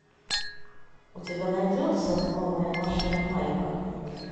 у тебя найдется новая машина майка